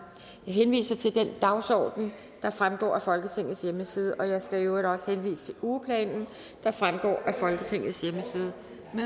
jeg henviser til den dagsorden der fremgår af folketingets hjemmeside jeg skal i øvrigt også henvise til ugeplanen der fremgår af folketingets hjemmeside